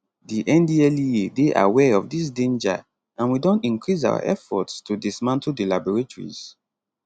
di ndlea dey aware of dis danger and we don increase our efforts to dismantle di laboratories